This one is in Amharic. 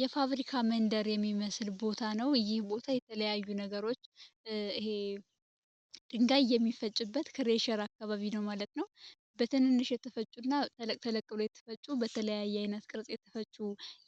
የፋብሪካ መንደር የሚመስል ቦታ ነው። እይህ ቦታ የተለያዩ ነገሮች ድንጋይ የሚፈጭበት ከሬሸር አካባቢ ነው ማለት ነው። በትንንሽ የተፈጩ እና ተለቅተለቅብሎ የተፈጩ በተለያይ ዓይነት ቅርጽ የተፈጩ